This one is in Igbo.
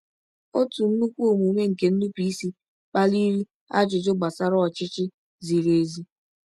Otu nnukwu omume nke nnupụisi kpaliri ajụjụ gbasara ọchịchị ziri ezi.